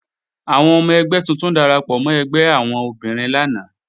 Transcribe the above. Àwọn ọmọ ẹgbẹ́ tuntun darapọ̀ mọ́ ẹgbẹ́ àwọn obìnrin lánàá